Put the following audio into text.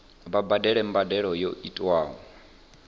vha badele mbadelo yo tiwaho